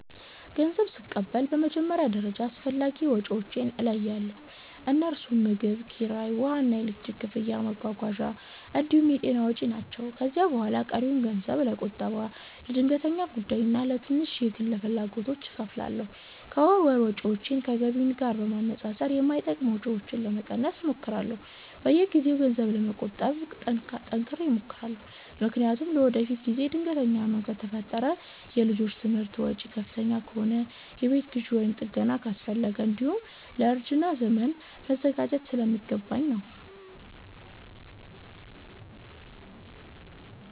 ገንዘብ ስቀበል በመጀመሪያ ደረጃ አስፈላጊ ወጪዎቼን እለያለሁ፤ እነርሱም ምግብ፣ ኪራይ፣ ውሃና ኤሌክትሪክ ክፍያ፣ መጓጓዣ እንዲሁም የጤና ወጪ ናቸው። ከዚያ በኋላ ቀሪውን ገንዘብ ለቁጠባ፣ ለድንገተኛ ጉዳይና ለትንሽ የግል ፍላጎቶች እከፋፍላለሁ። ከወር ወር ወጪዎቼን ከገቢዬ ጋር በማነጻጸር የማይጠቅሙ ወጪዎችን ለመቀነስ እሞክራለሁ። በየጊዜው ገንዘብ ለመቆጠብ ጠንክሬ እሞክራለሁ፤ ምክንያቱም ለወደፊት ጊዜ ድንገተኛ ህመም ከፈጠረ፣ የልጆች ትምህርት ወጪ ከፍተኛ ከሆነ፣ የቤት ግዢ ወይም ጥገና አስፈለገ፣ እንዲሁም ለእርጅና ዘመን መዘጋጀት ስለሚገባኝ ነው።